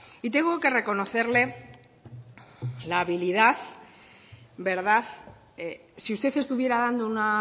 y tengo que reconocerle la habilidad verdad si usted estuviera dando una